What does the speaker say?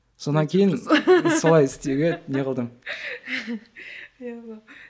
сонан кейін солай істеуге не қылдым